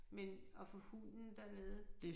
Men at få hunden dernede